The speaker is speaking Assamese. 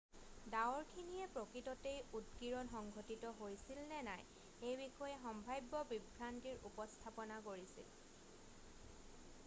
ডাৱৰখিনিয়ে প্ৰকৃততেই উদগীৰণ সংঘটিত হৈছিল নে নাই সেই বিষয়ে সম্ভাব্য বিভ্ৰান্তিৰ উপস্থাপনা কৰিছিল